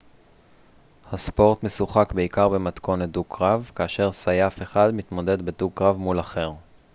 הספורט משוחק בעיקר במתכונת דו-קרב כאשר סייף אחד מתמודד בדו-קרב מול אחר